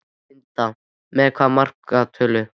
Linda: Með hvaða markatölu?